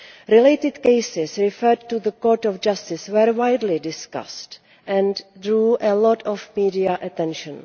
Related cases referred to the Court of Justice were widely discussed and drew a lot of media attention.